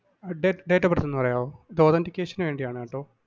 ആ date~ date of birth ഒന്ന് പറയാമോ? authentication വേണ്ടിയാണ് കേട്ടോ.